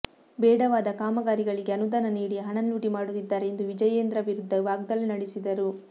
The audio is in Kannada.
ಬೇಡವಾದ ಕಾಮಗಾರಿಗಳಿಗೆ ಅನುದಾನ ನೀಡಿ ಹಣ ಲೂಟಿ ಮಾಡುತ್ತಿದ್ದಾರೆ ಎಂದು ವಿಜಯೇಂದ್ರ ವಿರುದ್ಧ ವಾಗ್ದಾಳಿ ನಡೆಸಿದರು